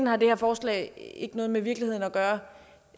har det her forslag ikke noget med virkeligheden at gøre